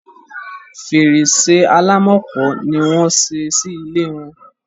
Fèrèsé Àlàmákò ni wọ́n ṣé sí ilẹ̀ wọn.